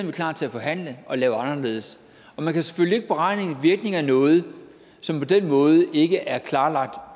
vi klar til at forhandle og lave anderledes og man kan selvfølgelig ikke beregne en virkning af noget som på den måde ikke er klarlagt